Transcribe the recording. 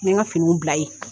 I ye n ka finiw bila ye.